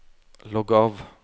logg av